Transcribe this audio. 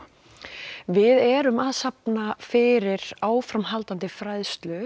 við erum að safna fyrir áframhaldandi fræðslu